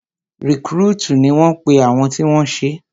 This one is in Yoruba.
Rìkrútìì ni wọ́n pe àwọn tí wọ́n ṣé